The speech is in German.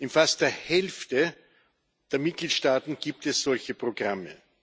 In fast der Hälfte der Mitgliedstaaten gibt es solche Programme.